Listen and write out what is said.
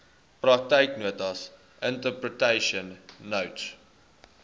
praktyknotas interpretation notes